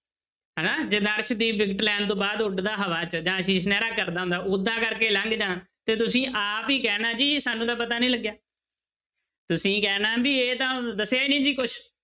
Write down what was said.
ਹਨਾ ਲੈਣ ਤੋਂ ਬਾਅਦ ਉੱਡਦਾ ਹਵਾ ਜਾਂ ਕਰਦਾ ਹੁੰਦਾ ਓਦਾਂ ਕਰਕੇ ਲੰਘ ਜਾਵਾਂ ਤੇ ਤੁਸੀਂ ਆਪ ਹੀ ਕਹਿਣਾ ਜੀ ਸਾਨੂੰ ਤਾਂ ਪਤਾ ਨੀ ਲੱਗਿਆ ਤੁਸੀਂਂ ਕਹਿਣਾ ਵੀ ਇਹ ਤਾਂ ਦੱਸਿਆ ਹੀ ਨੀ ਸੀ ਕੁਛ।